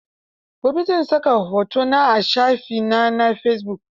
Gobe zan saka hoto na a shafi na na fesibuk.